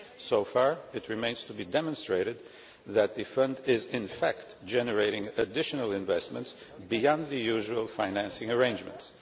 So far it remains to be demonstrated that the Fund is in fact generating additional investments beyond the usual financing arrangements.